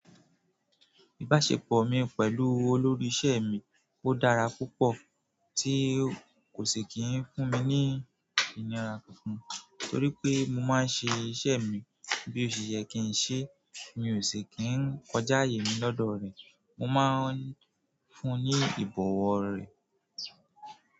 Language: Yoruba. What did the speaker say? Ìbáṣepọ̀ mi pẹ̀lú olórí iṣẹ́ mi ó dára púpọ̀ tí kò ṣi kì ń fún mi ní ìnira kankan, torí pé mo máa ń ṣe iṣẹ́ mi bí òṣe yẹ́ kì í n ṣe, mi ò ṣi kì ń kọjá ààyè mi lọ́dọ̀ rẹ̀. Mo máa ń fún un ní ìbọwo rẹ̀.